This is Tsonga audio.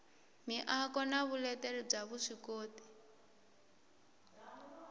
miako na vuleteri bya vuswikoti